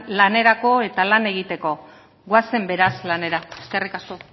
lanerako eta lan egiteko goazen beraz lanera eskerrik asko